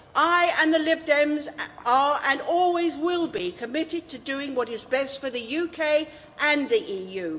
I and the Lib Dems are and always will be committed to doing what is best for the UK and the EU.